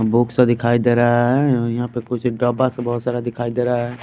Books दिखाई दे रहा है और यहाँ पे कुछ डब्बा सा बहुत सारा दिखाई दे रहा है।